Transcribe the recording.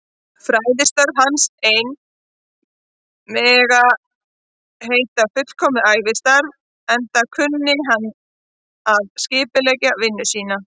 Fræðistörf hans ein mega heita fullkomið ævistarf, enda kunni hann að skipuleggja vinnu sína.